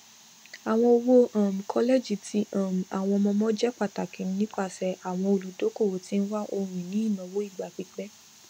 àwọn owó um kọlẹjì ti um àwọn ọmọọmọ jẹ pàtàkì nipasẹ àwọn olùdókòwò tí ń wá ohunini ináwó ìgbà pípẹ